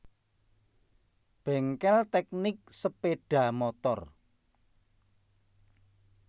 Bengkel Teknik Sepeda Motor